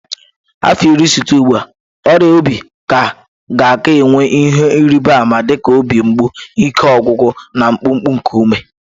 Afọ iri site ugbu a, ọrịa obi ga ka-enwe ihe ịrịba ama dị ka obi mgbu, ike ọgwụgwụ na mkpụmkpụ nke ume